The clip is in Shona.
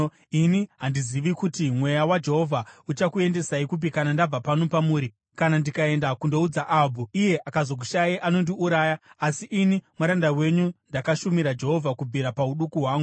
Ini handizivi kuti Mweya waJehovha uchakuendesai kupi kana ndabva pano pamuri. Kana ndikaenda kundoudza Ahabhu, iye akazokushayai, anondiuraya. Asi ini muranda wenyu ndakashumira Jehovha kubvira pauduku hwangu.